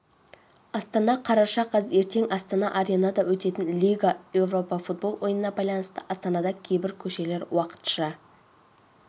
астана қараша қаз ертең астана аренада өтетін лига европа футбол ойынына байланысты астанада кейбір көшелер уақытша